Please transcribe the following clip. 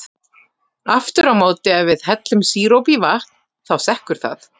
Aftur á móti ef við hellum sírópi í vatn, þá sekkur það.